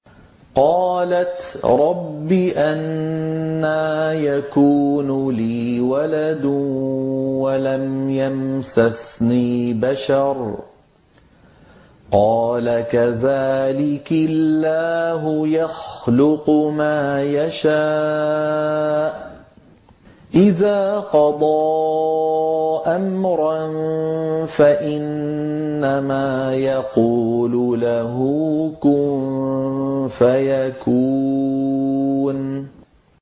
قَالَتْ رَبِّ أَنَّىٰ يَكُونُ لِي وَلَدٌ وَلَمْ يَمْسَسْنِي بَشَرٌ ۖ قَالَ كَذَٰلِكِ اللَّهُ يَخْلُقُ مَا يَشَاءُ ۚ إِذَا قَضَىٰ أَمْرًا فَإِنَّمَا يَقُولُ لَهُ كُن فَيَكُونُ